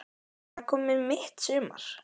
En það er komið mitt sumar!